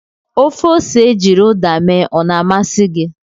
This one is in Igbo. Ofe ose ejiri Uda mee o na-amasị gị?